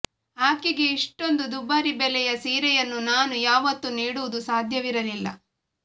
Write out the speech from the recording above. ಆಕೆಗೆ ಇಷ್ಟೊಂದು ದುಬಾರಿ ಬೆಲೆಯ ಸೀರೆಯನ್ನು ನಾನು ಯಾವತ್ತೂ ನೀಡುವುದು ಸಾಧ್ಯವಿರಲಿಲ್ಲ